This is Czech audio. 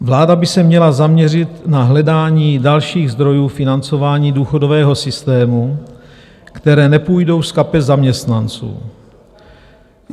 Vláda by se měla zaměřit na hledání dalších zdrojů financování důchodového systému, které nepůjdou z kapes zaměstnanců.